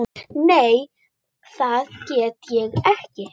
Nei það get ég ekki.